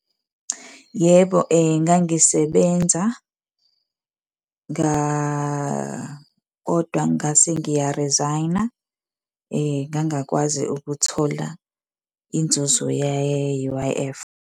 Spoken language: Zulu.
Yebo, ngangisebenza kodwa ngase ngiya-resign-a ngangakwazi ukuthola inzuzo ye-U_I_F.